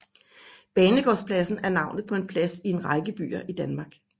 Banegårdspladsen er navnet på en plads i en række byer i Danmark